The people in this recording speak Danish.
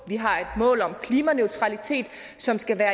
har et mål om klimaneutralitet som skal være